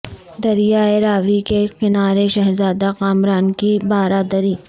دریائے راوی کے کنارے شہزادہ کامران کی بارہ دری